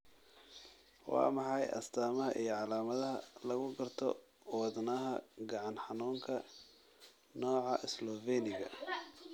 Waa maxay astamaha iyo calaamadaha lagu garto Wadnaha gacan xanuunka, nooca Sloveniga?